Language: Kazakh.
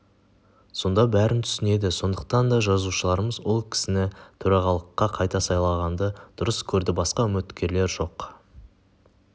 сонда бәрін түсінеді сондықтан да жазушыларымыз ол кісіні төрағалыққа қайта сайлағанды дұрыс көрді басқа үміткерлер жоқ